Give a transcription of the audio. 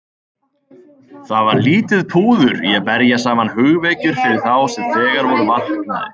Það var lítið púður í að berja saman hugvekjur fyrir þá sem þegar voru vaknaðir.